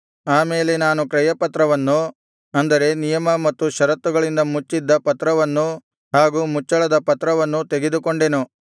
ಆ ಮೇಲೆ ನಾನು ಕ್ರಯಪತ್ರವನ್ನು ಅಂದರೆ ನಿಯಮ ಮತ್ತು ಷರತ್ತುಗಳಿಂದ ಮುಚ್ಚಿದ್ದ ಪತ್ರವನ್ನೂ ಹಾಗು ಮುಚ್ಚಳದ ಪತ್ರವನ್ನೂ ತೆಗೆದುಕೊಂಡೆನು